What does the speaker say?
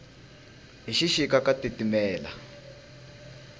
hi xixika ka titimela